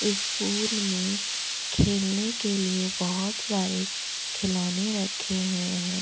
इस पूल में खेलने के लिए बहुत सारे खिलौने रखे हुए हैं।